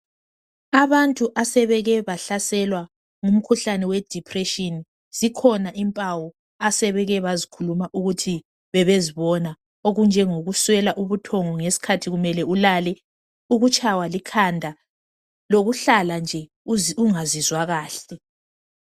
Abantu asebeke bahlaselwa ngumkhuhlane we depression , zikhona impawu asebeke bazikhuluma ukuthi bebezibona , okunjengokuswela ubuthongo ngesikhathi kumele ulale , ukutshaywa likhanda lokuhlala nje ungazizwa kahle